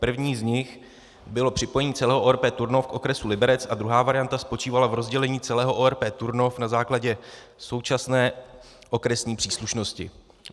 První z nich bylo připojení celého ORP Turnov k okresu Liberec a druhá varianta spočívala v rozdělení celého ORP Turnov na základě současné okresní příslušnosti.